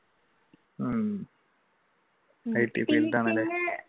ഉം